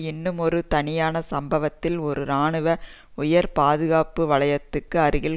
இன்னுமொரு தனியான சம்பவத்தில் ஒரு இராணுவ உயர் பாதுகாப்பு வலயத்துக்கு அருகில்